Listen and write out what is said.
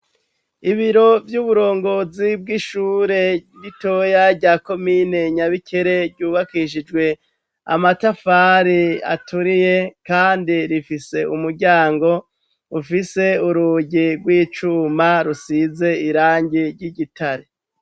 Ibiro vy'uburongozi bw'ishure ritoya rya komine Nyabikere, ryubakishijwe amatafari aturiye kandi rifise umuryango ufise urugi rw'icuma, rusize irangi ry'igitare.